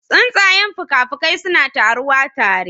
Tsuntsayen fuka-fukai suna taruwa tare